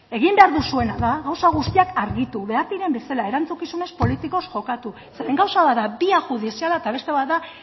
egin behar duzuena da gauza guztiak argitu behar diren bezala erantzukizunez politikoz jokatu zeren gauza bat da bia judiziala eta beste bat da